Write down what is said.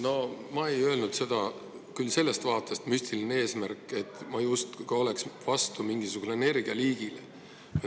No ma ei öelnud "müstiline eesmärk" küll sellest vaatest, et ma justkui oleks vastu mingisugusele energialiigile.